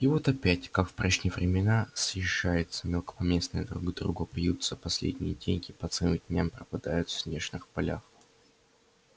и вот опять как в прежние времена съезжаются мелкопоместные друг к другу пьют за последние деньги по целым дням пропадают в снежных полях